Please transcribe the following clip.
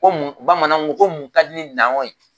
Ko mun bamananw ko ko mun ka di n'an kuwɔ ye.